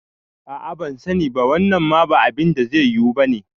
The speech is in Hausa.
A'a bansani ba, wannan ma ba abinda zai yiwu bane